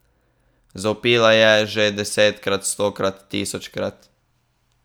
Zavpila je že desetkrat, stokrat, tisočkrat.